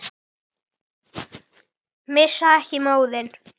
Missa ekki móðinn.